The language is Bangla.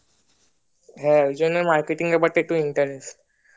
হ্যাঁ ওই জন্যে ব্যাপারটা অল্প interest